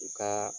U ka